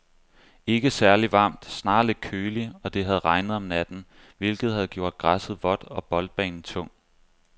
Ikke særligt varmt, snarere lidt køligt, og det havde regnet om natten, hvilket havde gjort græsset vådt og boldbanen tung.